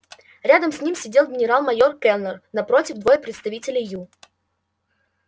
рядом с ним сидел генерал-майор кэллнер напротив двое представителей ю